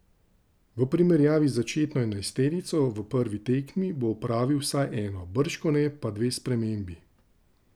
V primerjavi z začetno enajsterico v prvi tekmi bo opravil vsaj eno, bržkone pa dve spremembi.